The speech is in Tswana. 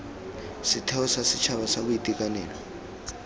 setheo sa setšhaba sa boitekanelo